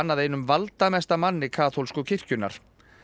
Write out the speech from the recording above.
að einum valdamesta manni kaþólsku kirkjunnar